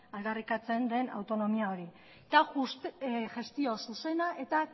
aldarrikatzen den autonomia hori eta gestio zuzena eta